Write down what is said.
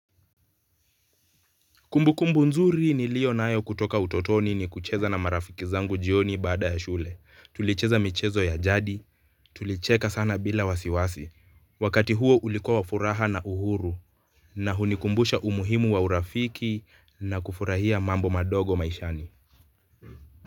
Kumbukumbu nzuri nilio nayo kutoka utotoni ni kucheza na marafiki zangu jioni baada ya shule. Tulicheza michezo ya jadi, tulicheka sana bila wasiwasi. Wakati huo ulikuwa wa furaha na uhuru. Na hunikumbusha umuhimu wa urafiki na kufurahia mambo madogo maishani.